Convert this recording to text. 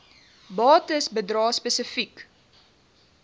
bates bedrae spesifiek